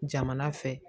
Jamana fɛ